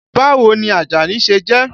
Báwo ni Àjàní ṣe jẹ́?